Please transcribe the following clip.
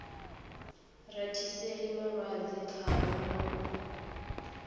rathiseli malwadze khavho na u